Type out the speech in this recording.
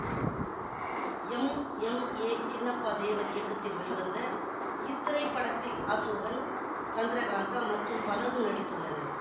M M A Chinnappa Devar இயக்கத்தில் வெளிவந்த இத்திரைப்படத்தில் அசோகன் சந்திரகாந்தா மற்றும் பலரும் நடித்துள்ளனர்